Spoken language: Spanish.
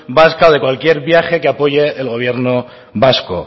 vasca en cualquier viaje que apoye el gobierno vasco